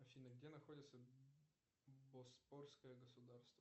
афина где находится боспорское государство